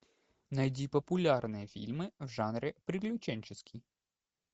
найди популярные фильмы в жанре приключенческий